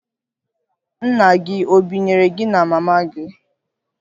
Nna gị ọ̀ binyere gị na mama gị?